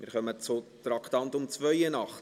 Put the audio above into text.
Wir kommen zum Traktandum 82.